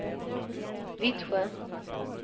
Vittsjö